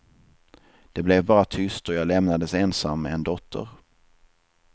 Det blev bara tyst och jag lämnades ensam med en dotter.